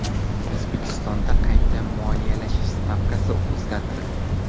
O‘zbekistonda qayta moliyalash stavkasi o‘zgartirilmadi.